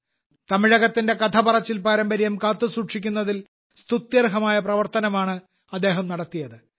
തമിഴകത്തിന്റെ കഥപറച്ചിൽ പാരമ്പര്യം കാത്തുസൂക്ഷിക്കുന്നതിൽ സ്തുത്യർഹമായ പ്രവർത്തനമാണ് അദ്ദേഹം നടത്തിയത്